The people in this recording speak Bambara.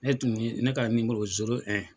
Ne tun ye ne ka nimoro zoro